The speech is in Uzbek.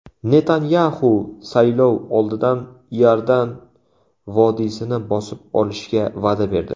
Netanyaxu saylov oldidan Iordan vodiysini bosib olishga va’da berdi.